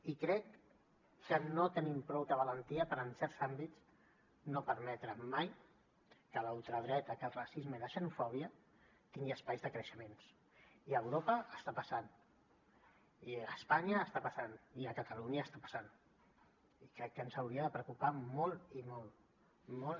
i crec que no tenim prou valentia per en certs àmbits no permetre mai que la ultradreta que el racisme i la xenofòbia tingui espais de creixement i a europa està passant i a espanya està passant i a catalunya està passant i crec que ens hauria de preocupar molt i molt